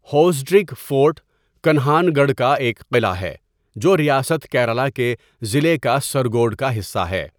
Hosdurg fort, Kanhangad کا ایک قلعہ ہے جو ریاست کیرالہ کے ضلعے کاسرگوڈ کا حصہ ہے۔